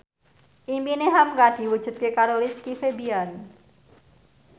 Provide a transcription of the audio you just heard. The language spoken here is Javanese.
impine hamka diwujudke karo Rizky Febian